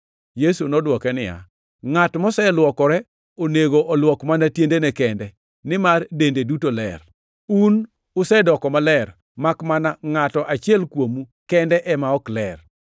Yesu nodwoke niya, “Ngʼat moseluokore onego olwok mana tiendene kende, nimar dende duto ler. Un usedoko maler, makmana ngʼato achiel kuomu kende ema ok ler.”